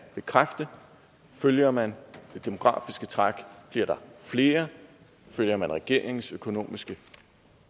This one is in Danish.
bekræfte at følger man det demografiske træk bliver der flere og følger man regeringens økonomiske